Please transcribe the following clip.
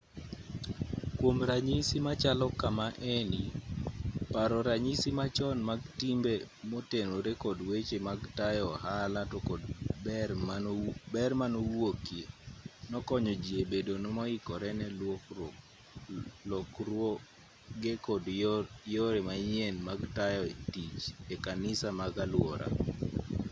kwom ranyisi machalo kama eni paro ranyisi machon mag timbe motenore kod weche mag tayo ohala to kod ber manowuokie nokonyo ji e bedo moikore ne lokruoge kod yore manyien mag tayo tich e kanise mag aluora